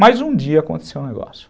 Mas um dia aconteceu um negócio.